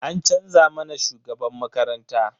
An canza mana shugaban makaranta.